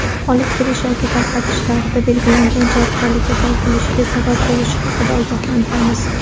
olib kirish yoki tarqatish)larida belgilangan javobgarlikka tortilishiga sabab bo‘lishi haqida ogohlantiramiz.